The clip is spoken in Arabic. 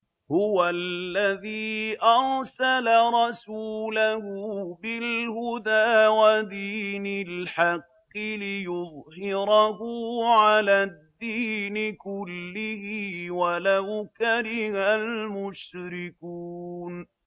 هُوَ الَّذِي أَرْسَلَ رَسُولَهُ بِالْهُدَىٰ وَدِينِ الْحَقِّ لِيُظْهِرَهُ عَلَى الدِّينِ كُلِّهِ وَلَوْ كَرِهَ الْمُشْرِكُونَ